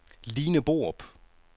Line Borup